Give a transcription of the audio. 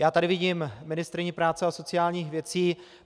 Já tady vidím ministryni práce a sociálních věcí.